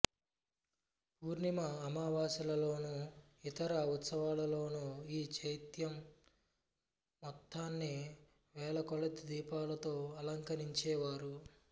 పూర్ణిమ అమావాస్యలలోను ఇతర ఉత్సవాలలోను ఈ చైత్యం మొత్తాన్ని వేలకొలది దీపాలతో అలంకరించేవారు